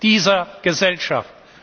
dieser Gesellschaft!